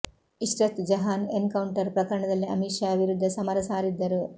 Ishrat Jahan encounter ಪ್ರಕರಣದಲ್ಲಿ ಅಮಿತ್ ಶಾ ವಿರುದ್ಧ ಸಮರ ಸಾರಿದ್ದರು